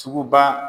Sugu ba